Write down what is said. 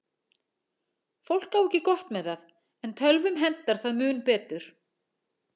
Fólk á ekki gott með það, en tölvum hentar það mun betur.